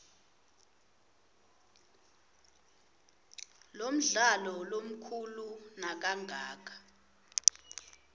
lomdlalo lomkhulu nakangaka